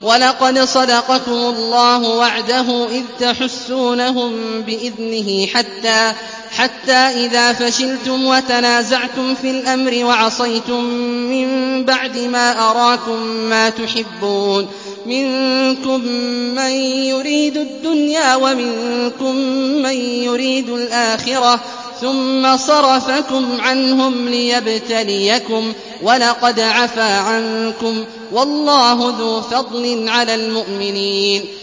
وَلَقَدْ صَدَقَكُمُ اللَّهُ وَعْدَهُ إِذْ تَحُسُّونَهُم بِإِذْنِهِ ۖ حَتَّىٰ إِذَا فَشِلْتُمْ وَتَنَازَعْتُمْ فِي الْأَمْرِ وَعَصَيْتُم مِّن بَعْدِ مَا أَرَاكُم مَّا تُحِبُّونَ ۚ مِنكُم مَّن يُرِيدُ الدُّنْيَا وَمِنكُم مَّن يُرِيدُ الْآخِرَةَ ۚ ثُمَّ صَرَفَكُمْ عَنْهُمْ لِيَبْتَلِيَكُمْ ۖ وَلَقَدْ عَفَا عَنكُمْ ۗ وَاللَّهُ ذُو فَضْلٍ عَلَى الْمُؤْمِنِينَ